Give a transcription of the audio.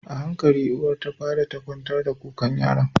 Ahankali uwar tafada ɗan kwantar da kukan yaron